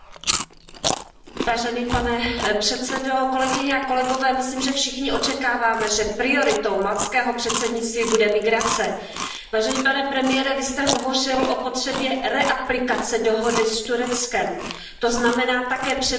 Pane předsedající, myslím, že všichni očekáváme, že prioritou maltského předsednictví bude migrace. Vážený pane premiére, Vy jste hovořil o potřebě opětovné aplikace dohody s Tureckem, to znamená také přerušení obchodu s lidmi.